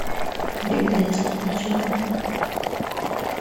беглец включи ка